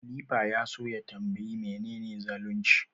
Halifa ya so ya tanbayi menene zalunci.